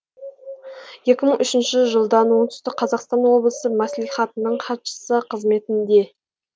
екі мың үшінші жылдан оңтүстік қазақстан облысы мәслихатының хатшысы қызметінде